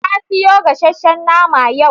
Ta siyo gasasshen nama yau.